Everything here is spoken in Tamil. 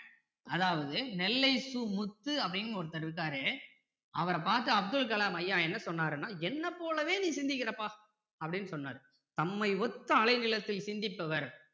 அதாவது நெல்லை சு முத்து அப்படின்னு ஒருத்தர் இருக்காரு அவர பார்த்து அப்துல கலாம் ஐயா என்ன சொன்னாருன்னா என்ன போலவே நீ சிந்திக்கிறப்பா அப்படின்னு சொன்னாரு தம்மை ஒத்த அலை நீளத்தில சிந்திப்பவர்